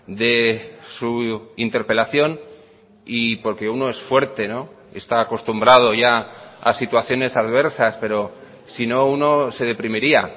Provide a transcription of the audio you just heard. de su interpelación y porque uno es fuerte está acostumbrado ya a situaciones adversas pero sino uno se deprimiría